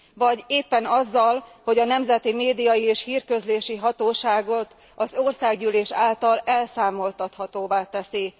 Vagy éppen azzal, hogy a nemzeti média és hírközlési hatóságot az Országgyűlés által elszámoltathatóvá teszi.